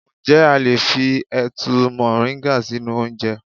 Ǹjẹ́ a lè fi ẹ̀tu moringa sínú oúnjẹ.